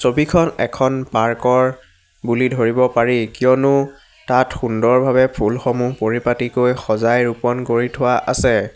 ছবিখন এখন পাৰ্ক ৰ বুলি ধৰিব পাৰি কিয়নো তাত সুন্দৰভাৱে ফুলসমুহ পৰিপাটিকৈ সজাই ৰোপণ কৰি থোৱা আছে।